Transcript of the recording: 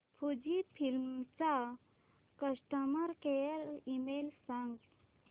Fujifilm चा customer care email सांगा